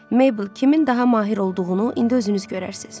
Mable, kimin daha mahir olduğunu indi özünüz görərsiniz.